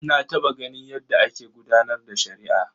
Na taɓa ganin yadda ake gudanar da shari'a.